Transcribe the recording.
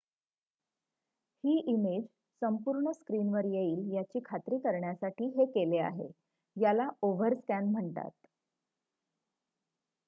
ही image संपूर्ण स्क्रिनवर येईल याची खात्री करण्यासाठी हे केले आहे याला ओव्हरस्कॅन म्हणतात